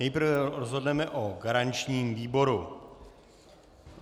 Nejprve rozhodneme o garančním výboru.